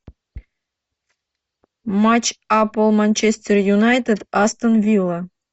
матч апл манчестер юнайтед астон вилла